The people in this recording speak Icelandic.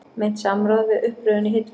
Meint samráð við uppröðun í hillur